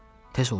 Tez ol get.